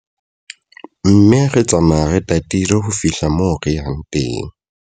Mme re tsamaya re tatile ho fihla moo re yang teng.